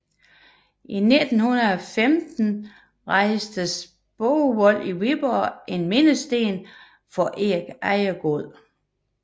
I 1915 rejstes på Borgvold i Viborg en mindesten for Erik Ejegod